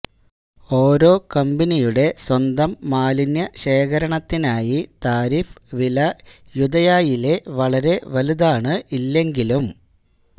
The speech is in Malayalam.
ഓരോ കമ്പനിയുടെ സ്വന്തം മാലിന്യ ശേഖരണത്തിനായി താരിഫ് വില യൂദയായിലെ വളരെ വലുതാണ് ഇല്ലെങ്കിലും